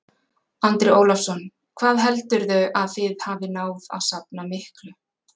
Andri Ólafsson: Hvað heldurðu að þið hafið náð að safna miklu?